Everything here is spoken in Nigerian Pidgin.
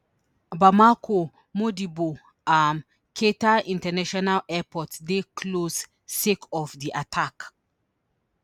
bamako modibo um keita international airport dey closed sake of di attack